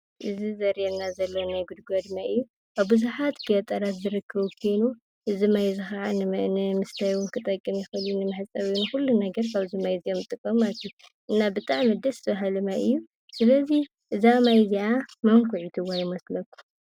እዚ ዘርኤና ዘሎ ናይ ጉድጓድ ማይ እዩ፡፡ ኣብ ብዙሓት ገጠራት ዝርከብ ኮይኑ እዚ ማይ እዚ ከዓ ንምስታይ እውን ክጠቅም ይኽእል እዩ፡፡ ንመሕፀቢ፣ ንኹሉ ነገር ካብዚ ማይ እዮም ዝጥቀሙ ማለት እዩ፡፡ እና ብጣዕሚ ደስ በሃሊ ማይ እዩ፡፡ ስለዚ እዛ ማይ እዚኣ መን ኲዒትዋ ይመስለኩም?